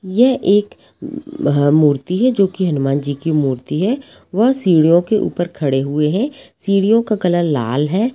यह एक मूर्ति है जो की हनुमानजी की मूर्ति है वह सीढ़ियों के ऊपर खड़े हुए है सीढ़ियों का कलर लाल है।